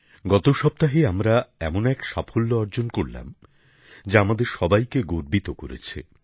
গত সপ্তাহে আমরা এমন এক সাফল্য অর্জন করলাম যা আমাদের সবাইকে গর্বিত করেছে